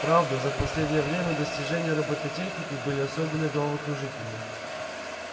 правда за последнее время достижения роботехники были особенно головокружительны